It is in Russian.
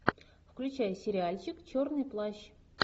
включай сериальчик черный плащ